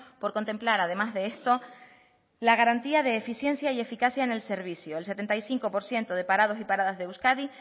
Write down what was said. por contemplar además de esto la garantía de eficiencia y eficacia en el servicio el setenta y cinco por ciento de parados y paradas de euskadi